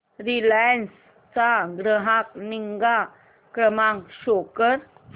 Reliance चा ग्राहक निगा क्रमांक शो कर